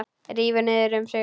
Rífur niður um sig.